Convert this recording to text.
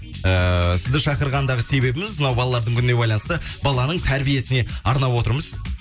ыыы сізді шақырғандағы себебіміз мынау балалардың күніне байланысты баланың тәрбиесіне арнап отырмыз